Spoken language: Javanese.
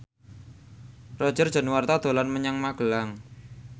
Roger Danuarta dolan menyang Magelang